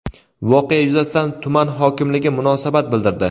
Voqea yuzasidan tuman hokimligi munosabat bildirdi.